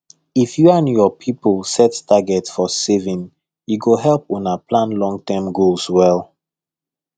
if you and your people set target for saving e go help una plan longterm goals well